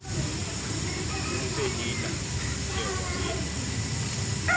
upenina ke waye